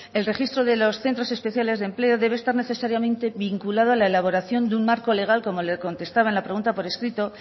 el registro de los centros especiales de empleo debe estar necesariamente vinculado a la elaboración de un marco legal como le contestaba en la pregunta por escrito